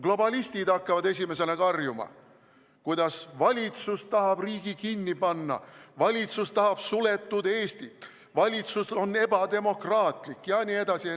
Globalistid hakkavad esimesena karjuma, kuidas valitsus tahab riigi kinni panna, valitsus tahab suletud Eestit, valitsus on ebademokraatlik jne.